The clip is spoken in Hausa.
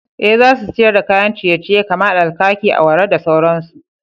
Eh, za su siyar da kayan ciye-ciye kamar alkaki, awara da sauransu.